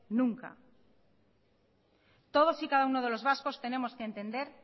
nunca todos y cada uno de los vascos tenemos que entender